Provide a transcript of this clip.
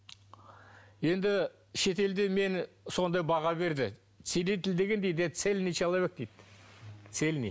енді шетелде мені сондай баға берді целитель цельный человек дейді цельный